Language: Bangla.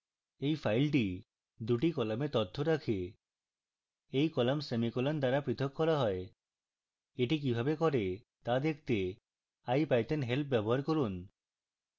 এই file দুটি কলামে তথ্য রাখে এই কলাম semicolons দ্বারা পৃথক করা হয়